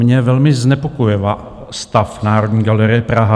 Mě velmi znepokojuje stav Národní galerie Praha.